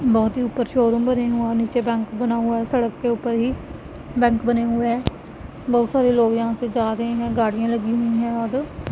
बहोत ही ऊपर शोरूम बने हो नीचे बैंक हुआ है सड़क के ऊपर ही बैंक बने हुए बहोत सारे लोग यहां पे जा रहे है गाड़ियों लगी हुई है वहां पे --